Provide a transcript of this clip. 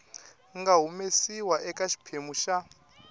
nga humesiwa eka xiphemu xa